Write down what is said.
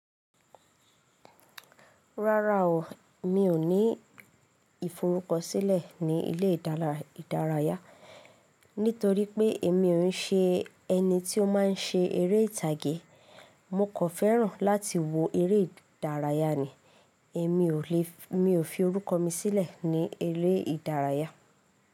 Rárá o, mi ò ní ìforúkọ sílẹ̀ ní ilé ìdárayá, nítorí pé èmi ò ń ṣe ẹni tí ó má ń ṣe eré ìtàgé. Mo kò fẹ́ràn láti wo eré ìdárayá ni. Ẹ̀mi ò lè, mi fi orúkọ mi sílẹ̀ ní ilé ìdárayá.